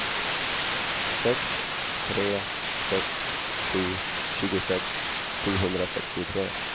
sex tre sex sju tjugosex sjuhundrasextiotre